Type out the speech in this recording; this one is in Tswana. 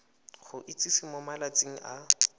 go itsise mo malatsing a